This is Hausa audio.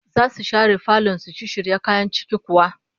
Zasu share falon su shisshirya kayan ciki kuwa?